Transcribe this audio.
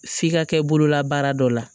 F'i ka kɛ bololabaara dɔ la